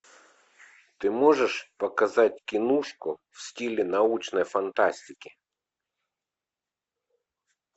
ты можешь показать киношку в стиле научной фантастики